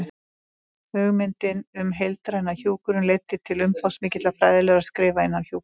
Hugmyndin um heildræna hjúkrun leiddi til umfangsmikilla fræðilegra skrifa innan hjúkrunar.